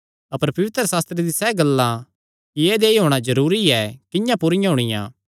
अपर पवित्रशास्त्रे दी सैह़ गल्लां कि ऐदेया ई होणा जरूरी ऐ किंआं पूरियां होणियां